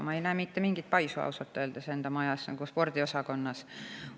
Ma ei näe mitte mingit paisu ausalt öeldes enda maja spordiosakonnas.